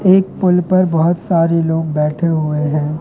एक पुल पर बहुत सारे लोग बैठे हुए हैं।